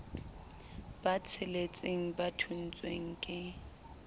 ba tsheletseng ba thontshweng ke